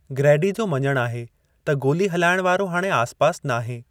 Grady जो मञणु आहे त गोली हलाइण वारो हाणे आसिपासि नाहे।